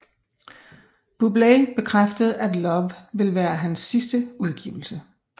Bublé bekræftede at Love vil være hans sidste udgivelse